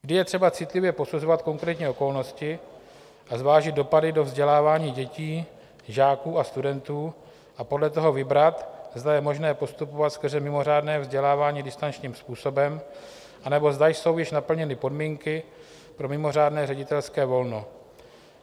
Vždy je třeba citlivě posuzovat konkrétní okolnosti a zvážit dopady do vzdělávání dětí, žáků a studentů a podle toho vybrat, zda je možné postupovat skrze mimořádné vzdělávání distančním způsobem, anebo zda jsou již naplněny podmínky pro mimořádné ředitelské volno.